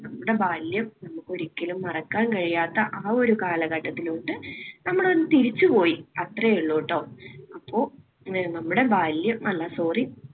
നമ്മുടെ ബാല്യം നമുക്ക് ഒരിക്കലും മറക്കാൻ കഴിയാത്ത ആ ഒരു കാലഘട്ടത്തിലോട്ട് നമ്മൾ ഒന്ന് തിരിച്ചു പോയി അത്രയേ ഉള്ളൂട്ടോ. അപ്പോൾ നമ്മുടെ ബാല്യം അല്ല sorry